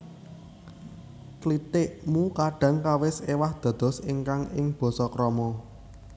Klitik mu kadhang kawis éwah dados ingkang ing basa krama